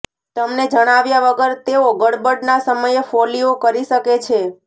તમને જણાવ્યા વગર તેઓ ગરબડના સમયે ફોલ્લીઓ કરી શકે છે